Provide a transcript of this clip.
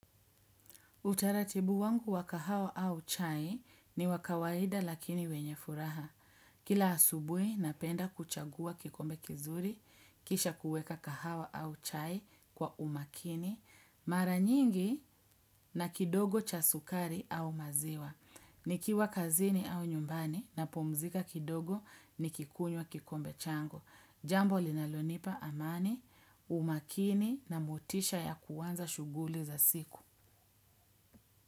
Utaratibu wangu wa kahawa au chai ni wa kawaida lakini wenye furaha. Kila asubuhi napenda kuchagua kikombe kizuri, kisha kuweka kahawa au chai kwa umakini, mara nyingi na kidogo cha sukari au maziwa. Nikiwa kazini au nyumbani napumzika kidogo nikikunywa kikombe changu. Jambo linalonipa amani, umakini na motisha ya kuanza shughuli za siku.